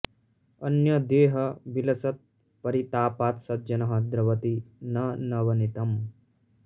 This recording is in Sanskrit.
अन्य देह विलसत् परितापात् सज्जनः द्रवति न नवनीतम्